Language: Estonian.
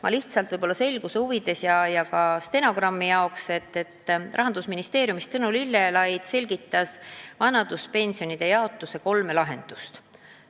Ma lihtsalt võib-olla selguse huvides ja ka stenogrammi huvides märgin, et Rahandusministeeriumi esindaja Tõnu Lillelaid selgitas meile vanaduspensionide jaotuse kolme lahendust.